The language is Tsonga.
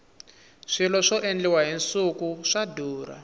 swilo swa endliwa hi nsuku swa durha